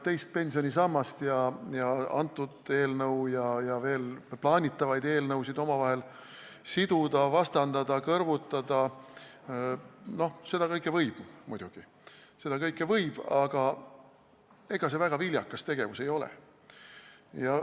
Teist pensionisammast ja antud eelnõu ja veel plaanitavaid eelnõusid omavahel siduda, vastandada, kõrvutada – seda kõike muidugi võib, aga ega see väga viljakas tegevus ei ole.